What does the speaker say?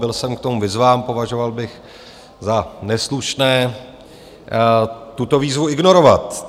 Byl jsem k tomu vyzván, považoval bych za neslušné tuto výzvu ignorovat.